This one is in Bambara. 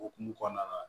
Okumu kɔnɔna la